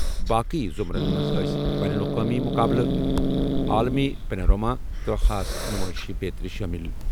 باقی زمرن منٛز ٲسۍ بین الاقوٲمی مقابلہٕ، عالمی پینورما، تہٕ خاص نُمٲئشہٕ بیترِ شٲمِل۔